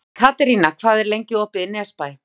Katerína, hvað er lengi opið í Nesbæ?